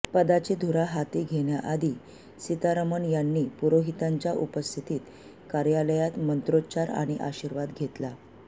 पदाची धुरा हाती घेण्याआधी सीतारमण यांनी पुरोहितांच्या उपस्थितीत कार्यालयात मंत्रोच्चार आणि आशीर्वाद घेतला